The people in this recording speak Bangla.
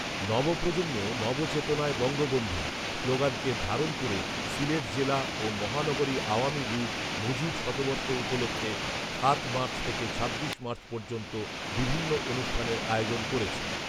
‘নব প্রজন্মেও নব চেতনায় বঙ্গবন্ধু’ স্লোাগানকে ধারণ করে সিলেট জেলা ও মহানগরী আওয়ামী লীগ মুজিব শতবর্ষ উপলক্ষে সাত মার্চ থেকে ছাব্বিশ মার্চ পর্যন্ত বিভিন্ন অনুষ্ঠানের আয়োজন করেছে